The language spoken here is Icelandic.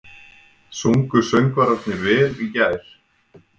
Sungu söngvararnir vel í gær?